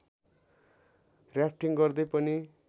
rafting गर्दै पनि